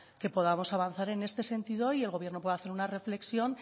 que podamos avanzar en este sentido y el gobierno pueda hacer una reflexión